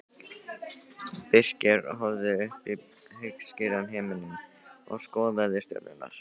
Birkir horfði upp í heiðskíran himininn og skoðaði stjörnurnar.